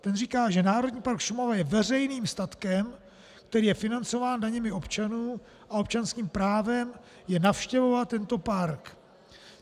Ten říká, že Národní park Šumava je veřejným statkem, který je financován daněmi občanů, a občanským právem je navštěvovat tento park.